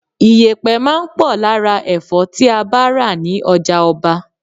Iyẹpẹ máa ń pò lára Ẹ̀fọ́ tí a bá ra ní ọjà-ọba.